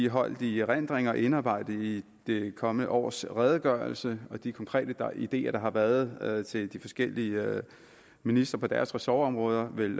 holdt i erindring og indarbejdet i det kommende års redegørelse og de konkrete ideer der har været til de forskellige ministre på deres ressortområder vil